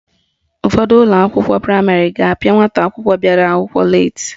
Ụfọdụ ụlọakwụkwọ praịmarị ga-apịa nwata akwụkwọ bịara akwụkwọ leeti